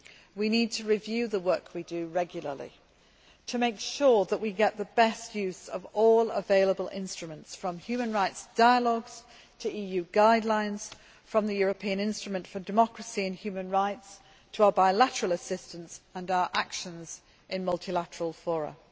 We need to review the work we do regularly and to make sure that we get the best use of all available instruments from human rights dialogues to EU guidelines, from the European Instrument for Democracy and Human Rights to our bilateral assistance and our actions in multilateral